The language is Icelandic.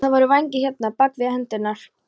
Og þá voru vængir hérna, bak við hendurnar.